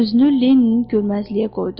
Özünü Lenninin görməzliyə qoydu.